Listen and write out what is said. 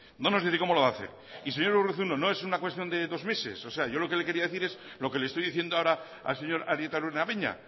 no nos dice cómo lo va a hacer señor urruzuno no es una cuestión de dos meses lo que yo lo que le quería decir es lo que le estoy diciendo ahora al señor arieta araunabeña